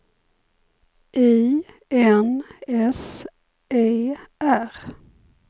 I N S E R